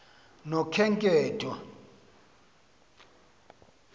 nokhenketho